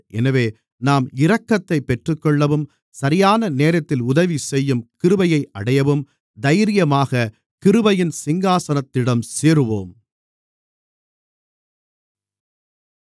எனவே நாம் இரக்கத்தைப் பெற்றுக்கொள்ளவும் சரியான நேரத்தில் உதவிசெய்யும் கிருபையை அடையவும் தைரியமாகக் கிருபையின் சிங்காசனத்திடம் சேருவோம்